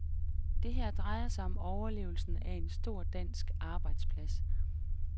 Det her drejer sig om overlevelsen af en stor dansk arbejdsplads.